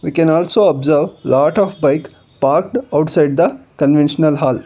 we can also observe lot of bike parked outside the convention hall.